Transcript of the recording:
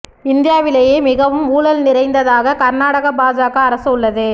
இந்தியாவிலேயே மிகவும் ஊழல் நிறைந்ததாக கா்நாடக பாஜக அரசு உள்ளது